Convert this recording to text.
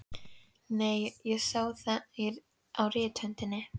Nei, ég sá það á rithöndinni.